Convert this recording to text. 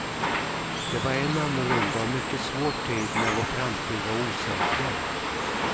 Det var en annorlunda och mycket svår tid när vår framtid var osäker.